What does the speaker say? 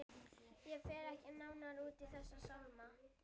Ég fer ekki nánar út í þessa sálma hér.